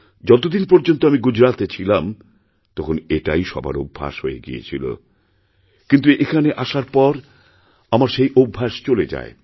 যতদিন পর্যন্ত আমি গুজরাতে ছিলাম তখন এটাই সবার অভ্যাস হয়ে গিয়েছিল কিন্তুএখানে আসার পর আমার সেই অভ্যাস চলে যায়